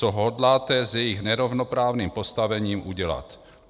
Co hodláte s jejich nerovnoprávným postavením udělat?